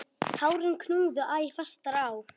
Tárin knúðu æ fastar á.